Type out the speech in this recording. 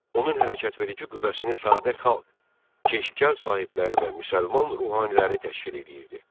Onun hərəkətverici qüvvəsini sadə xalq, Keşkəl sahibləri və müsəlman ruhaniləri təşkil edirdi.